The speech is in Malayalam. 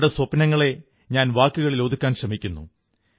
അവരുടെ സ്വപ്നങ്ങളെ ഞാൻ വാക്കുകളിലാക്കാൻ ശ്രമിക്കുന്നു